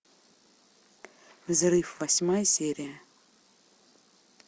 взрыв восьмая серия